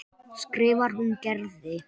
skrifar hún Gerði.